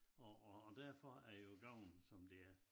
Og og og derfor er det jo gåen som det er